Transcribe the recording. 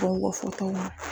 Donko fotow